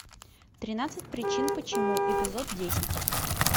тринадцать причин почему эпизод десять